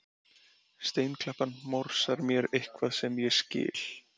Steinklappan morsar mér eitthvað sem ég skil